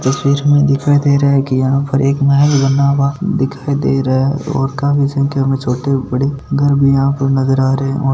तस्वीर में दिखाय दे रहा है की यहाँ पर एक महल बना हुआ दिखाई दे रहा है और काफी संख्या में छोटे बड़े घर भी यहाँ पे नज़र आ रहे है।